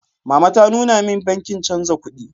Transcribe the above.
Mama ta nuna min bankin chanza kuɗi.